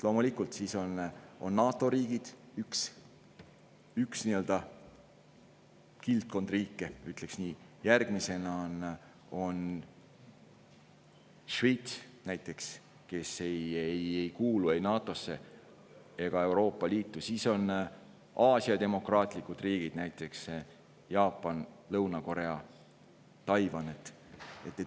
Loomulikult, NATO riigid – üks kildkond riike, ütleks nii –, ka Šveits näiteks, kes ei kuulu ei NATO‑sse ega Euroopa Liitu, ka Aasia demokraatlikud riigid, näiteks Jaapan, Lõuna-Korea, Taiwan.